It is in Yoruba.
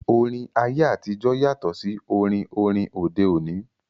Orin ayé àtijọ́ yàtọ̀ sí orin orin òde òní